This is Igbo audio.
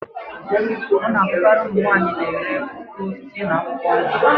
Ọ na-abụkari ụmụ nwaanyi na-ere mkpụrụ osisi na akwụkwọ nri.